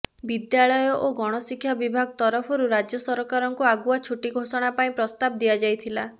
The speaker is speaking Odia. ବିଦ୍ୟାଳୟ ଓ ଗଣଶିକ୍ଷା ବିଭାଗ ତରଫରୁ ରାଜ୍ୟ ସରକାରଙ୍କୁ ଆଗୁଆ ଛୁଟି ଘୋଷଣା ପାଇଁ ପ୍ରସ୍ତାବ ଦିଆଯାଇଥିଲା